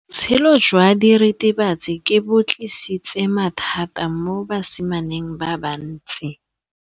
Botshelo jwa diritibatsi ke bo tlisitse mathata mo basimaneng ba bantsi.